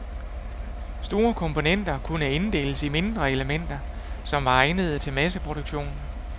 Store komponenter kunne inddeles i mindre elementer, som var egnede til masseproduktion.